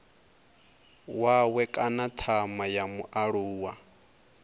wawe kana thama ya mualuwa